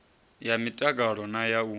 ya mtakalo na ya u